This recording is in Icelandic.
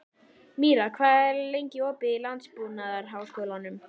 Míra, hvað er lengi opið í Landbúnaðarháskólanum?